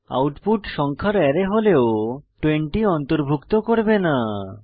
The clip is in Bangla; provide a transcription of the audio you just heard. আউটপুট সংখ্যার অ্যারে হলেও 20 অন্তর্ভুক্ত করবে না